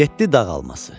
Yeddi dağ alması.